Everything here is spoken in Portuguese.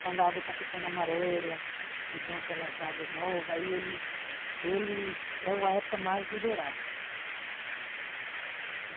Quando a água está ficando amarela, que vem aquelas águas novas, aí ele ele é a época mais do dourado.